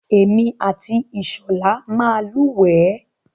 Èmi àti Ìṣọ̀lá máa ń lúwẹ̀ẹ́.